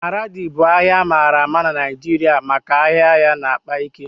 Maradi bụ ahịa amaara nke ọma na Naịjirịa maka ahịa ya na-akpa ike